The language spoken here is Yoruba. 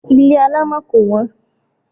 Ilé alámọ̀ kò wọ́n.